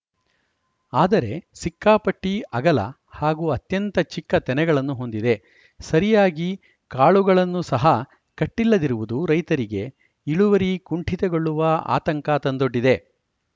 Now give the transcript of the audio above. ಆದರೆ ಸಿಕ್ಕಾಪಟ್ಟಿಅಗಲ ಹಾಗೂ ಅತ್ಯಂತ ಚಿಕ್ಕ ತೆನೆಗಳನ್ನು ಹೊಂದಿದೆ ಸರಿಯಾಗಿ ಕಾಳುಗಳನ್ನೂ ಸಹ ಕಟ್ಟಿಲ್ಲದಿರುವುದು ರೈತರಿಗೆ ಇಳುವರಿ ಕುಂಠಿತಗೊಳ್ಳುವ ಆತಂಕ ತಂದೊಡ್ಡಿದೆ